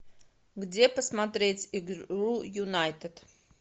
где посмотреть игру юнайтед